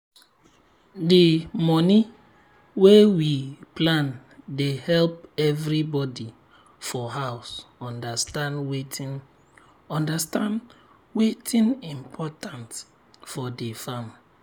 d moni wey we plan dey help everybody for house understand wetin understand wetin important for the farm.